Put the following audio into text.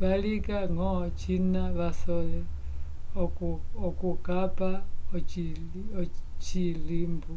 valinga ngo cina vasole okucapa ocilimbu